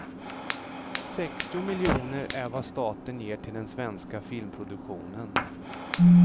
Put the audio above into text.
Sextio miljoner är vad staten ger till den svenska filmproduktionen.